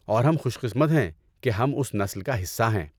اور ہم خوش قسمت ہیں کہ ہم اس نسل کا حصہ ہیں۔